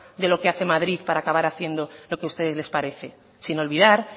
de lo que hace madrid para acabar haciendo lo que a ustedes les parece sin olvidar